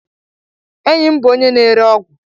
Enyi m bụ onye na-ere ọgwụ.